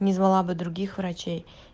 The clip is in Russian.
не звала бы других врачей